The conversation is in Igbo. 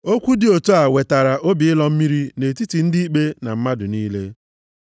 Okwu dị otu a wetara obi ịlọ mmiri nʼetiti ndị ikpe na mmadụ niile.